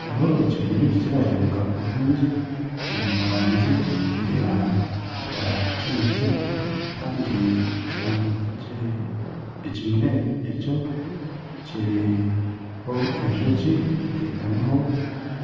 Hariho ekimuri nirareebeka kurungi kiri omu rangi eya kinekye kandi ekimuri ekyo kiriho enjoki eteekamiho